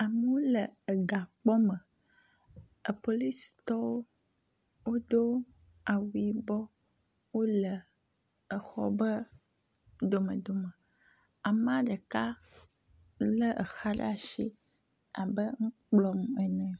Amewo le gakpɔ me epolisitɔwo do awu yibɔ wole xɔ ƒe dome dome, amea ɖeka lé exa ɖe asi abe nu kplɔm ene.